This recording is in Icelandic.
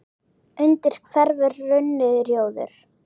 undir hverfur runni, rjóður